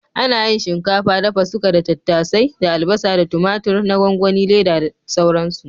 Ana yin shinkafa dafa-suka da tattasai da albasa da tumatur na gwangwani/Leda da sauransu.